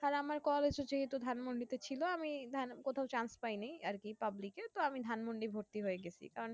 কাল আমার call এসেছিলো তো ধানমন্ডি তে ছিল আমি ভাল কোথাও chance পাইনি আরকি public এ তো আমি ধানমন্ডি এ ভর্তি হয়ে গেছি কারণ